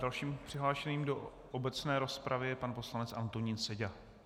Dalším přihlášeným do obecné rozpravy je pan poslanec Antonín Seďa.